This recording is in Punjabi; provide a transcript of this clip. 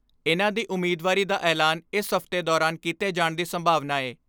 ਇਨ੍ਹਾਂ ਦੀ ਉਮੀਦਵਾਰੀ ਦਾ ਐਲਾਨ ਇਸ ਹਫ਼ਤੇ ਦੌਰਾਨ ਕੀਤੇ ਜਾਣ ਦੀ ਸੰਭਾਵਨਾ ਏ।